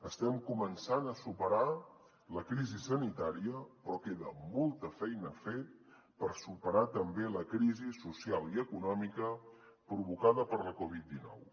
estem començant a superar la crisi sanitària però queda molta feina a fer per superar també la crisi social i econòmica provocada per la covid dinou